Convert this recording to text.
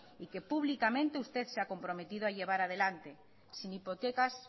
y que públicamente usted se ha comprometido a llevar adelante sin hipotecas